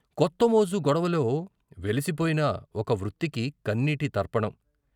కొత్తమోజు గొడవలో వెలిసిపోయిన ఒక వృత్తికి కన్నీటి తర్పణం.